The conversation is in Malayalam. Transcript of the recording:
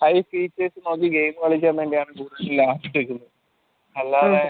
high നോക്കി game കളിക്കാൻ വേണ്ടിയാണ് അല്ലാതെ